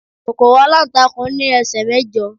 kòkòrò alantakun ni ẹsẹ mẹjọ